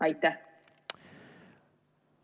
Aitäh!